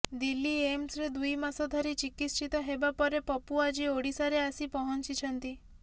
ଦିଲ୍ଲୀ ଏମ୍ସରେ ଦୁଇ ମାସ ଧରି ଚିକିତ୍ସିତ ହେବା ପରେ ପପୁ ଆଜି ଓଡ଼ିଶାରେ ଆସି ପହଞ୍ଚିଛନ୍ତି